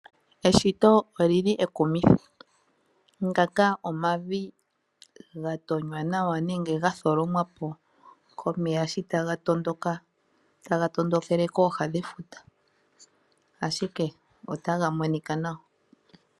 Eshito olili ekumithi, ngaka omavi gatonywa nawa nenge gatholomwa po komeya shi taga tondoka, taga tondokele kooha dhefuta ashike otaga monika nawa.